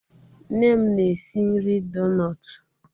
Nne m na-esi nri donut